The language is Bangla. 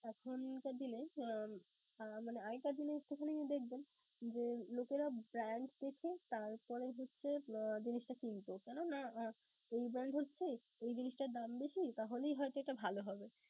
আহ আর একটা জিনিস দোকানে দেখবেন যে, লোকেরা brand দেখে তারপরে হচ্ছে জিনিসটা কিনত. কেননা এই brand হচ্ছে ঐ জিনিসটার দাম বেশী, তাহলেই হয়তো এটা ভালো হবে.